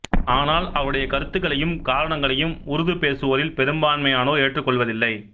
ஆனால் அவருடைய கருத்துக்களையும் காரணங்களையும் உருது பேசுவோரில் பெரும்பான்மையோர் ஏற்றுக்கொள்வதில்லை